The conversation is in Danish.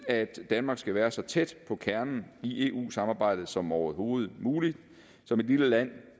at danmark skal være så tæt på kernen i eu samarbejdet som overhovedet muligt som et lille land